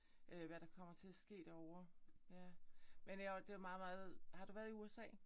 Øh hvad der kommer til at ske derovre. Ja. Men jeg var det var meget meget har du været i USA?